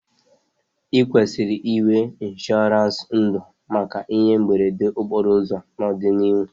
I kwesịrị inwe ịnshọransị ndụ maka ihe mberede okporo ụzọ n'ọdịnihu